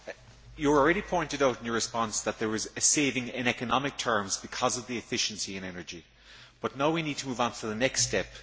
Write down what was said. Commissioner, you have already pointed out in your response that there is a saving in economic terms because of the efficiency in energy, but now we need to move on to the next step.